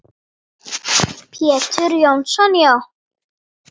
Pétur Jónsson Já.